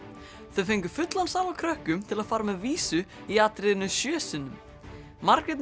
þau fengu fullan sal af krökkum til að fara með vísu í atriðinu sjö sinnum Margrét